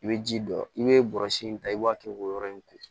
I bɛ ji don i bɛ bɔrɔsi in ta i b'a kɛ k'o yɔrɔ in ko